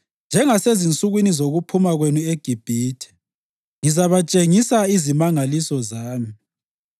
“Njengasezinsukwini zokuphuma kwenu eGibhithe, ngizabatshengisa izimangaliso zami.”